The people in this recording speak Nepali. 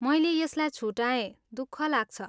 मैले यसलाई छुटाएँ, दुःख लाग्छ।